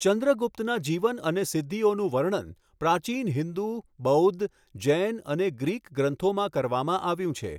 ચંદ્રગુપ્તના જીવન અને સિદ્ધિઓનું વર્ણન પ્રાચીન હિંદુ, બૌદ્ધ, જૈન અને ગ્રીક ગ્રંથોમાં કરવામાં આવ્યું છે.